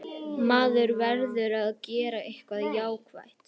Maður verður að gera eitthvað jákvætt.